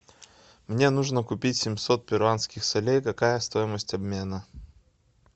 мне нужно купить семьсот перуанских солей какая стоимость обмена